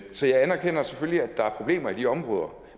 så jeg anerkender selvfølgelig at der er problemer i de områder